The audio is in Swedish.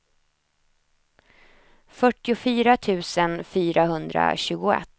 fyrtiofyra tusen fyrahundratjugoett